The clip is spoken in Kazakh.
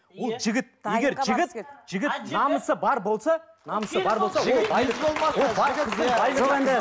ол жігіт егер жігіт жігіт намысы бар болса намысы бар болса